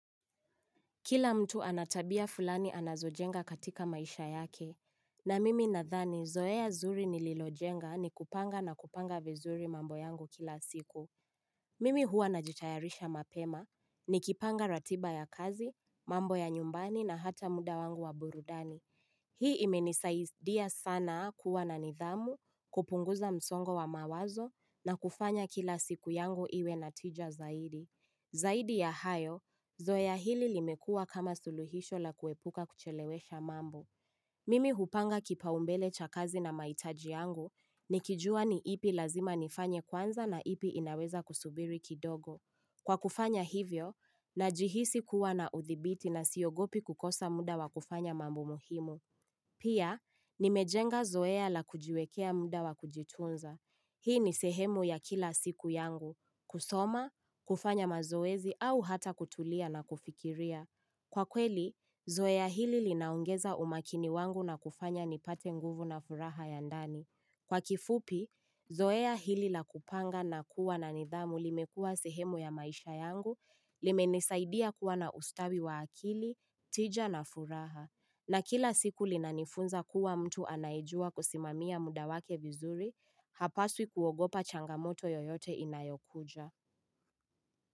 Kila mtu ana tabia fulani anazojenga katika maisha yake. Na mimi nadhani, zoea zuri nililojenga ni kupanga na kupanga vizuri mambo yangu kila siku. Mimi huwa najitayarisha mapema, nikipanga ratiba ya kazi, mambo ya nyumbani na hata muda wangu wa burudani. Hii imenisaidia sana kuwa na nidhamu, kupunguza msongo wa mawazo na kufanya kila siku yangu iwe na tija zaidi. Zaidi ya hayo, zoea hili limekuwa kama suluhisho la kuepuka kuchelewesha mambo. Mimi hupanga kipaumbele cha kazi na mahitaji yangu nikijua ni ipi lazima nifanye kwanza na ipi inaweza kusubiri kidogo. Kwa kufanya hivyo, najihisi kuwa na udhibiti na siogopi kukosa muda wa kufanya mambo muhimu. Pia, nimejenga zoea la kujiwekea muda wa kujitunza. Hii ni sehemu ya kila siku yangu. Kusoma, kufanya mazoezi au hata kutulia na kufikiria. Kwa kweli, zoea hili linaongeza umakini wangu na kufanya nipate nguvu na furaha ya ndani. Kwa kifupi, zoea hili la kupanga na kuwa na nidhamu limekuwa sehemu ya maisha yangu, limenisaidia kuwa na ustawi wa akili, tija na furaha. Na kila siku linanifunza kuwa mtu anayejua kusimamia muda wake vizuri, hapaswi kuogopa changamoto yoyote inayokuja.